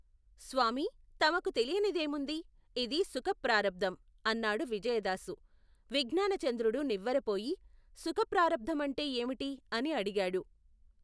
స్వామీ, తమకు తెలియనిదేముంది? ఇది సుఖప్రారబ్ధం ! అన్నాడు విజయదాసు. విజ్ఞానచంద్రుడు నివ్వెరపోయి, సుఖ ప్రారబ్ధమంటే ఏమిటి? అని అడిగాడు.